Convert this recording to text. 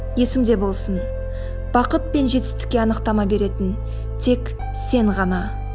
есіңде болсын бақыт пен жетістікке анықтама беретін тек сен ғана